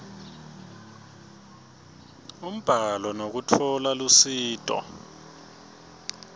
umbhalo ngekutfola lusito